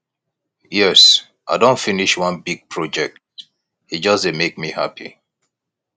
yes i don finish one big project e just dey make me happy